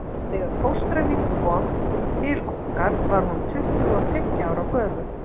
Þegar fóstra mín kom til okkar var hún tuttugu og þriggja ára gömul.